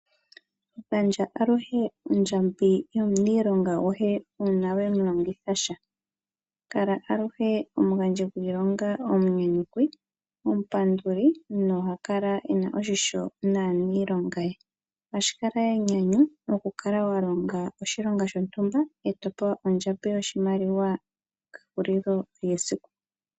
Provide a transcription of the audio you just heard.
Gandja aluhe ondjambi yo muniilonga gohe uuna wemu longitha sha. Kala aluhe omugandji gwiilonga omuyuuki, omupanduli no ha kala ena oshisho naaniilonga ye. Ohashikala enyanyu mokukala wa longa oshilonga shontumba e topewa ondjambi yoshimaliwa kehulilo lyesiku.